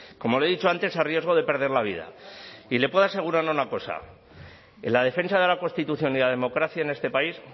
como le he dicho antes a riesgo de perder la vida y le puedo asegurar una cosa en la defensa de la constitución y la democracia en este país